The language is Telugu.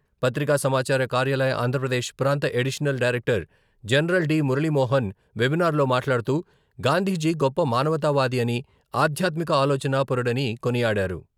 పత్రికా సమాచార కార్యాలయ ఆంధ్రప్రదేశ్ ప్రాంత additional director general D Muralimohan webinar మాట్లాడుతూ...గాంధీజీ గొప్ప మానవతా వాది అని...ఆధ్యాత్మిక ఆలోచనా పరుడని కొనియాడారు.